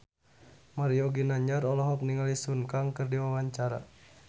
Mario Ginanjar olohok ningali Sun Kang keur diwawancara